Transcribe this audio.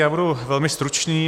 Já budu velmi stručný.